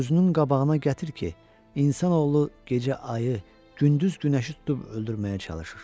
Gözünün qabağına gətir ki, insanoğlu gecə ayı, gündüz günəşi tutub öldürməyə çalışır.